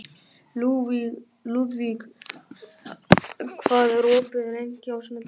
Lúðvíg, hvað er opið lengi á sunnudaginn?